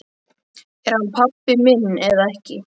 Er hann pabbi minn eða ekki?